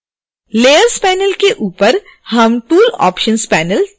layers panel के ऊपर हम tool options panel देख सकते हैं